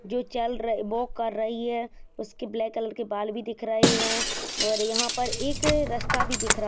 जो चल रही वॉक कर रही है उसकी ब्लैक कलर के बाल भी दिख रहे है और यहाँ पे एक रस्ता भी दिख रहा--